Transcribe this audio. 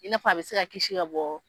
Ina fɔ a be se ka kisi ka bɔ